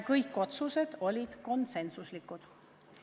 Kõik otsused olid konsensuslikud.